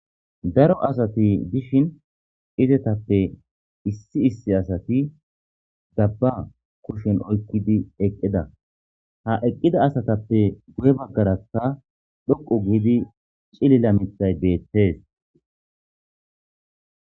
Daro asati dishin izetappe issi issi asati dabba kushen oykkidi eqqida. Ha eqqida asatappe guye baggara dhoqu giidi cilila mithay beettees.